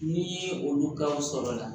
N'i ye olu ka o sɔrɔ la